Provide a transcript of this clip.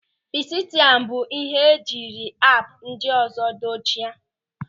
Fesịtaịm bụ ịhe e jiri app ndị ọzọ dochie.